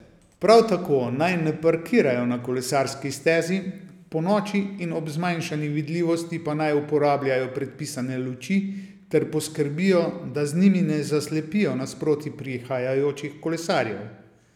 Prav tako naj ne parkirajo na kolesarski stezi, ponoči in ob zmanjšani vidljivosti pa naj uporabljajo predpisane luči ter poskrbijo, da z njimi ne zaslepijo nasproti prihajajočih kolesarjev.